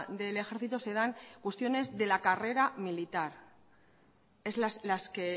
del ejército se dan cuestiones de la carrera militar son las que